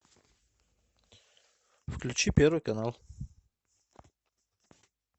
включи первый канал